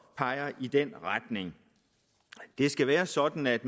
peger i den retning det skal være sådan at